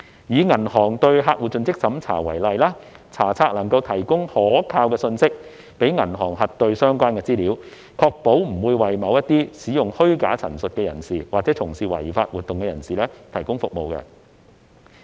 以銀行對客戶的盡職審查為例，查冊能夠提供可靠信息讓銀行核對相關資料，確保不會為某些使用虛假陳述的人士或從事違法活動的人士提供服務。